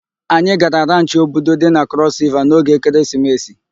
Anyị gara ranchị Obudu dị na Steeti Crọs Riva n'oge ekeresimesi.